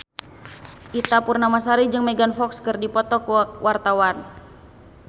Ita Purnamasari jeung Megan Fox keur dipoto ku wartawan